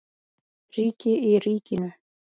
Ríki í ríkinu?